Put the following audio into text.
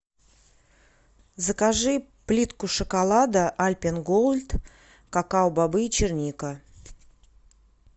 закажи плитку шоколада альпен гольд какао бобы черника